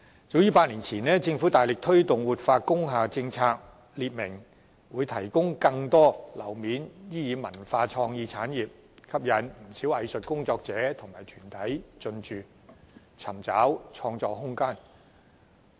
早於8年前，政府大力推動活化工廈政策，表明會劃出更多樓面面積作為發展文化創意產業之用，因而吸引不少藝術工作者及團體進駐，尋找創作空間。